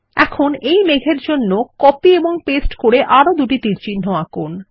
এখন এই মেঘ এর জন্য কপি এবং পেস্ট করে আরো দুটি তীরচিহ্ন আঁকুন